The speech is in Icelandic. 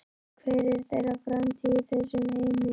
Hver er þeirra framtíð í þessum heimi?